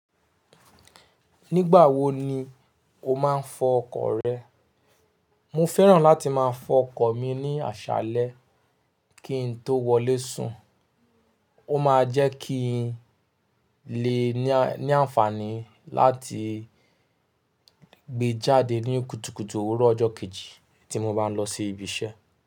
Nígbà wo ni o máa ń fọ ọkọ̀ rẹ? Mo fẹ́ràn láti máa fọ ọkọ̀ mi ní àṣálẹ́ kí n tó wọlé sùn. Ó máa jẹ́ kí n lè ní àǹfààní láti gbé jáde ní kùtùkùtù òwúrọ̀ ọjọ́ kejì tí mo bá ń lọ sí ibi iṣẹ́.